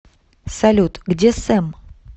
салют где сэм